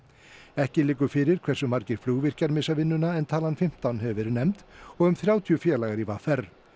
ekki liggur fyrir hversu margir flugvirkjar missa vinnuna en talan fimmtán hefur verið nefnd og um þrjátíu félagar í v r